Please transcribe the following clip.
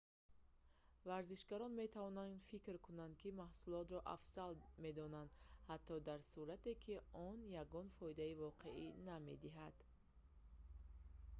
варзишгарон метавонанд фикр кунанд ки маҳсулотро афзал медонанд ҳатто дар сурате ки он ягон фоидаи воқеӣ намедиҳад